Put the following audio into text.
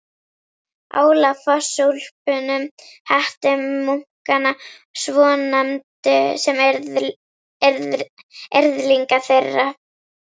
Álafossúlpunum, hettumunkana svonefndu, sem yrðlinga þeirra.